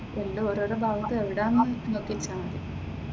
എല്ലാം ഓരോ ഓരോ ഭാഗത്ത് എവിടെ ആണെന്ന് നോക്കി എടുത്താൽ മതി.